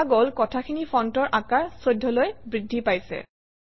দেখা গল কথাখিনিৰ ফণ্টৰ আকাৰ 14 অলৈ বৃদ্ধি পাইছে